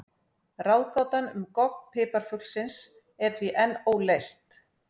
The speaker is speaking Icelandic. Ráðgátan um gogg piparfuglsins er því enn óleyst.